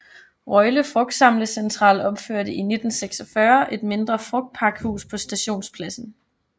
Røjle Frugtsamlecentral opførte i 1946 et mindre frugtpakhus på stationspladsen